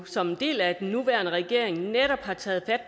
som en del af den nuværende regering netop har taget